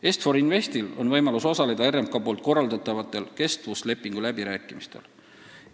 Est-For Investil on võimalus osaleda RMK korraldatavatel kestvuslepingu läbirääkimistel.